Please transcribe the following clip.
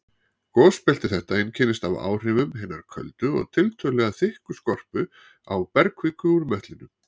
Gosbelti þetta einkennist af áhrifum hinnar köldu og tiltölulega þykku skorpu á bergkviku úr möttlinum.